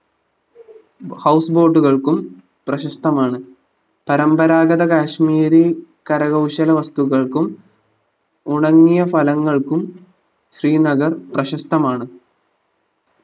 house boat കൾക്കും പ്രശസ്തമാണ് പരമ്പരാഗത കാശ്മീരി കരകൗശല വസ്തുക്കൾക്കും ഉണങ്ങിയ ഫലങ്ങൾക്കും ശ്രീനഗർ പ്രശസ്തമാണ്